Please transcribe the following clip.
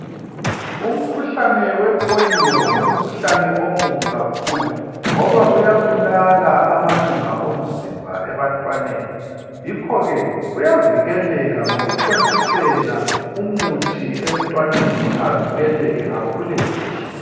Umkhuhlane wepholiyo ngumkhuhlane omubi kakhulu ngoba uyabulala amalunga omzimba ebantwaneni. Yikho ke uyavikeleka ngokuthontisela umuthi emntwaneni avikeleke akhule kuhle.